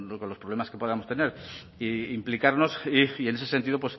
con los problemas que podamos tener e implicarnos y en ese sentido